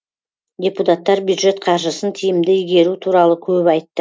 депутаттар бюджет қаржысын тиімді игеру туралы көп айтты